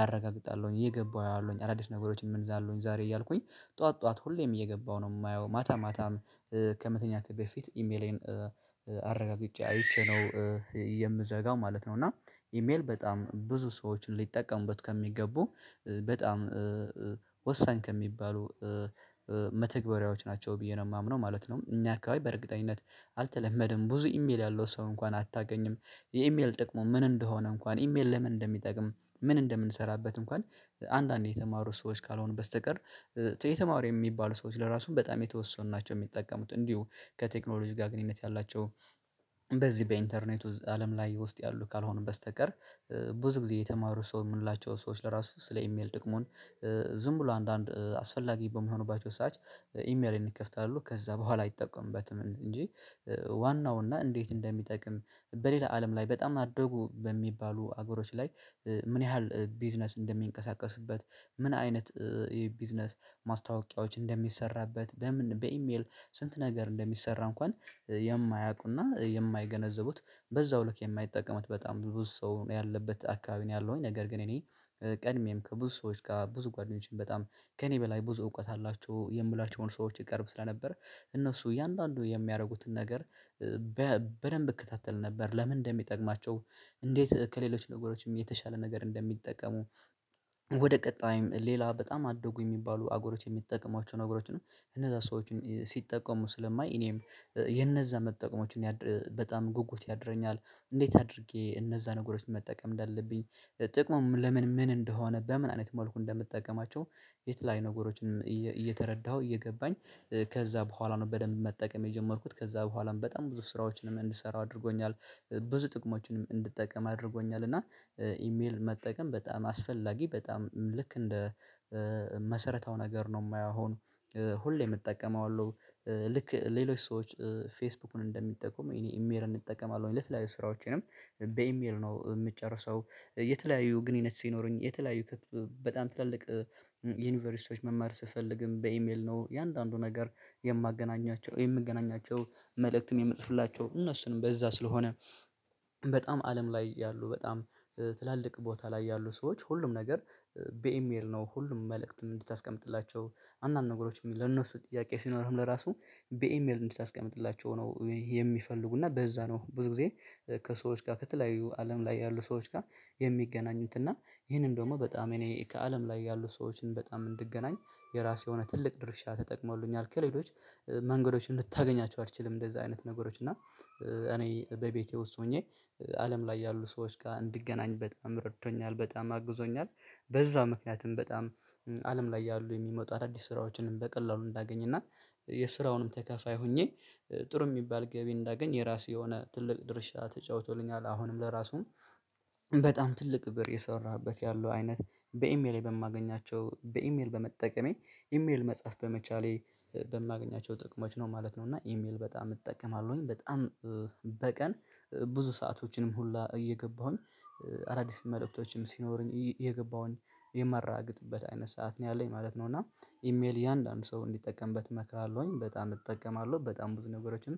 አረጋግጣለሁኝ። እየገባሁ አያለሁኝ አዳዲስ ነገሮችን ምን አሉን ዛሬ እያልኩኝ ጠዋት ጠዋት ሁሌም እየገባሁ ነው የማየው። ማታ ማታም ከመተኛቴ በፊት ኢሜሌን አረጋግጬ አይቼ ነው የምዘጋው ማለት ነው። እና ኢሜል በጣም ብዙ ሰዎችን ሊጠቀሙበት ከሚገቡ በጣም ወሳኝ ከሚባሉ መተግበሪያዎች ናቸው ብዬ ነው የማምነው ማለት ነው። እኛ አካባቢ በእርግጠኝነት አልተለመድንም ብዙ ኢሜል ያለው ሰው እንኳን አታገኝም። የኢሜል ጥቅሙ ምን እንደሆነ እንኳን ኢሜል ለምን እንደሚጠቅም ምን እንደምንሰራበት እንኳን። አንዳንዴ የተማሩ ሰዎች ካልሆኑ በስተቀር የተማሩ የሚባሉ ሰዎች ለራሱ በጣም የተወሰኑ ናቸው የሚጠቀሙት። እንዲሁ ከቴክኖሎጂ ጋር ግንኙነት ያላቸው በዚህ በኢንተርኔት አለም ላይ ውስጥ ያሉ ካልሆነ በስተቀር። ብዙ ጊዜ የተማሩ ሰው የምንላቸው ሰዎች ለራሱ ስለ ኢሜል ጥቅሙን ዝም ብሎ አንዳንድ አስፈላጊ በሚሆኑባቸው ሰዓት ኢሜልን እንከፍታለን ከዛ በኋላ አይጠቀምበትም እንጂ። ዋናው እና እንዴት እንደሚጠቅም በሌላ አለም ላይ በጣም አደጉ በሚባሉ አገሮች ላይ ምን ያህል ቢዝነስ እንደሚንቀሳቀስበት። ምን አይነት ቢዝነስ ማስታወቂያዎች እንደሚሰራበት በምን በኢሜል ስንት ነገር እንደሚሰራ እንኳን የማያውቁና የማይገነዘቡት በዛው ልክ የማይጠቀሙት በጣም ብዙ ሰው ያለበት አካባቢ ነው። ያለሁኝ ነገር ግን እኔ ቀድሜም ከብዙ ሰዎች ጋር ብዙ ጓደኞቼን በጣም ከእኔ በላይ ብዙ እውቀት አላቸው የምላቸውን ሰዎች እቀርብ ስለነበር እነሱ እያንዳንዱ የሚያደርጉትን ነገር በደንብ እከታተል ነበር። ለምን እንደሚጠቅማቸው እንዴት ከሌሎች ነገሮችም የተሻለ ነገር እንደሚጠቀሙ። ወደ ቀጣይም ሌላ በጣም አደጉ የሚባሉ አገሮች የሚጠቅሟቸውን ነገሮችንም ነው እነዛ ሰዎችን ሲጠቀሙ ስለማይ እኔም የነዛ መጠቀሞችን በጣም ጉጉት ያድረኛል። እንዴት አድርጌ እነዛ ነገሮች መጠቀም እንዳለብኝ ጥቅሙም ለምን ምን እንደሆነ በምን አይነት መልኩ እንደምትጠቀማቸው። የተለያዩ ነገሮችን እየተረዳሁ እየገባኝ ከዛ በኋላ ነው በደንብ መጠቀም የጀመርኩት ከዛ በኋላም በጣም ብዙ ስራዎችንም እንድሰራ አድርጎኛል። ብዙ ጥቅሞችንም እንድጠቀም አድርጎኛል። እና ኢሜል መጠቀም በጣም አስፈላጊ በጣም ልክ እንደ መሰረታው ነገር ነው የማየው። አሁን ሁሌም እጠቀማለሁ ልክ ሌሎች ሰዎች ፌስቡክን እንደሚጠቁም እኔ ኢሜሌን እንጠቀማለሁ ለተለያዩ ስራዎቼንም በኢሜል ነው የምጨርሰው። የተለያዩ ግንኙነት ሲኖረኝ የተለያዩ በጣም ትላልቅ ዩኒቨርሲቲ ሰዎች መማር ስትፈልግም በኢሜል ነው የአንዳንዱ ነገር የማገናኛቸው የምገናኛቸው መልእክትን የምጽፍላቸው እነሱንም በዛ ስለሆነ። በጣም አለም ላይ ያሉ በጣም ትላልቅ ቦታ ላይ ያሉ ሰዎች ሁሉም ነገር በኢሜል ነው ሁሉም መልእክትም እንድታስቀምጥላቸው። አንዳንድ ነገሮች የሚል ለነሱ ጥያቄ ሲኖርህም ለራሱ በኢሜል እንድታስቀምጥላቸው ነው የሚፈልጉና በዛ ነው ብዙ ጊዜ። ከሰዎች ጋር ከተለያዩ አለም ላይ ያሉ ሰዎች ጋር የሚገናኙትና ይህንን ደግሞ በጣም እኔ ከአለም ላይ ያሉ ሰዎችን በጣም እንድገናኝ የራሴ የሆነ ትልቅ ድርሻ ተጠቅሞልኛል። ከሌሎች መንገዶችን ልታገኛቸው አልችልም። እንደዚህ አይነት ነገሮች እና እኔ በቤቴ ውስጥ ሆኜ አለም ላይ ያሉ ሰዎች ጋር እንድገናኝ በጣም ረድቶኛል በጣም አግዞኛል። በዛ ምክንያትም በጣም አለም ላይ ያሉ የሚመጡ አዳዲስ ስራዎችንም በቀላሉ እንዳገኝ እና የስራውንም ተከፋይ ሆኜ ጥሩ የሚባል ገቢ እንዳገኝ የራሱ የሆነ ትልቅ ድርሻ ተጫውቶልኛል። አሁንም ለራሱም በጣም ትልቅ ብር እየሰራሁበት ያለው አይነት በኢሜል በማገኛቸው በኢሜል በመጠቀሜ ኢሜል መጻፍ በመቻሌ በማገኛቸው ጥቅሞች ነው ማለት ነው። እና ኢሜል በጣም እጠቀማለሁኝ በጣም በቀን ብዙ ሰአቶችንም ሁላ እየገባሁኝ አዳዲስ መልእክቶችም ሲኖሩኝ እየገባሁኝ የማረጋግጥበት አይነት ሰዓት ነው ያለኝ ማለት ነው። እና ኢሜል እያንዳንዱ ሰው እንዲጠቀምበት እመክራለሁኝ በጣም እጠቀማለሁ በጣም ብዙ ነገሮችን